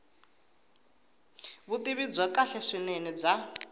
vutivi byo kahle swinene bya